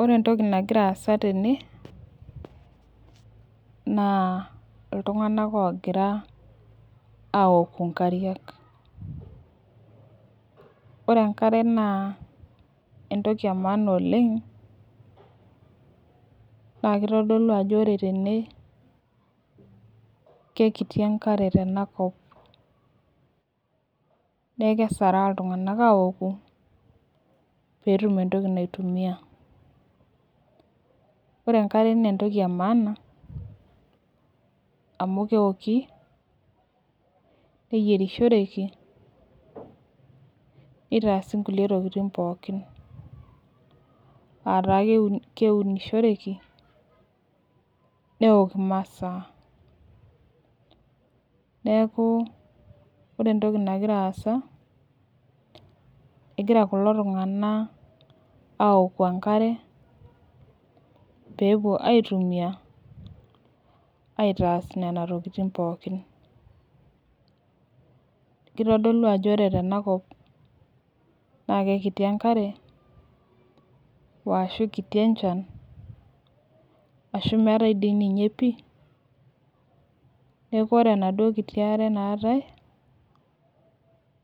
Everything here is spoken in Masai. Ore entoki nagira aasa tene, naa iltunganak oogira aouku nkariak. ore enkare naa entoki emaana oleng. naa kitodolu ajo ore tene, kekiti enkare tenakop neeku kesaraa iltunganak aouku. pee etum entoki naitumia. ore enkare naa entoki emaana, amu kepiki neyierishoreki. neitaasi nkulie tokitin poookin. neeku ore entoki nagira aasa egira kulo tunganak aoku enkare, peepuo aitumia, aitaas Nena tokitin pookin. kitodolu ajo ore tena kop naa kekiti, ashu kiti enchan. ashu meetae dii ninye piie aduoo kiti are naatae,